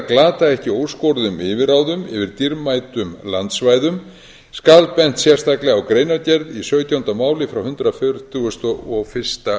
glata ekki óskoruðum yfirráðum yfir dýrmætum landsvæðum skal bent sérstaklega á greinargerð í sautjánda máli frá hundrað fertugasta og fyrsta